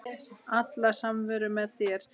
Alla samveru með þér.